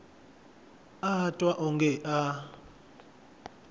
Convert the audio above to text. a a twa wonge a